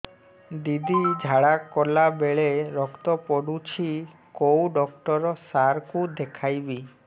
ଦିଦି ଝାଡ଼ା କଲା ବେଳେ ରକ୍ତ ପଡୁଛି କଉଁ ଡକ୍ଟର ସାର କୁ ଦଖାଇବି